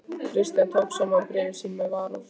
Christian tók saman bréf sín með varúð.